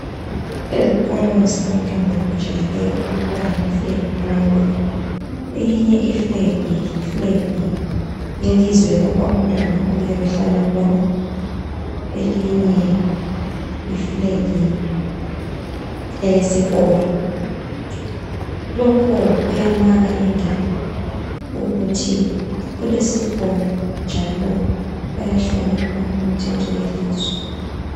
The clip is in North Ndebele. Ezikolo ezabantwana kujayele ukuba lamafulegi amabili eyinye ifulegi yifulegi yelizwe lapho umntwana oyabehlala khona, eyinye yifulegi eyesikolo lokhu kuyamaka indawo ukuthi kulesikolo njalo bayahlonipha imithetho ye lizwe.